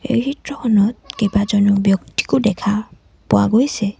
এই চিত্ৰখনত কেইবাজনো ব্যক্তিকো দেখা পোৱা গৈছে।